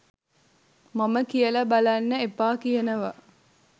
මම කියල බලන්න එපා කියනවා